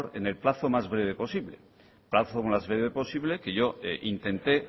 en el plazo más breve posible plazo más breve posible que yo intenté